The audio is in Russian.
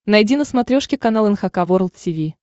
найди на смотрешке канал эн эйч кей волд ти ви